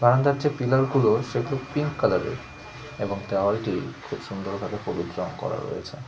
বারান্দার যে পিলার -গুলো সেগুলো পিঙ্ক কালার -এর এবং দেওয়ালটি খুব সুন্দরভাবে হলুদ রঙ করা রয়েছে।